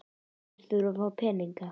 Allir þurfa að fá peninga.